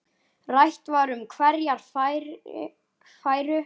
Rætt var um hverjir færu.